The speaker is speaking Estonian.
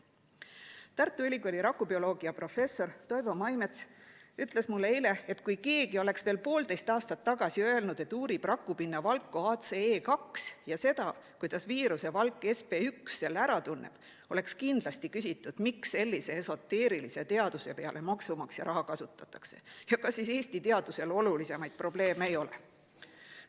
Tartu Ülikooli rakubioloogiaprofessor Toivo Maimets ütles mulle eile, et kui keegi oleks veel poolteist aastat tagasi öelnud, et uurib rakupinna valku ACE2 ja seda, kuidas viiruse valk SB1 selle ära tunneb, oleks kindlasti küsitud, miks sellise esoteerilise teaduse peale maksumaksja raha kasutatakse ja kas siis Eesti teadusel olulisemaid probleeme ei ole.